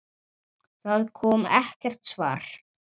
Það kom ekkert svar.